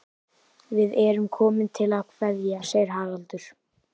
Við erum komin til að kveðja, segir Haraldur.